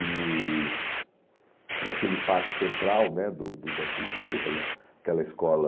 E naquele pátio central né do do do Dante Aligueira, aquele aquela escola...